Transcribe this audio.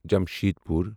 Jamshedpur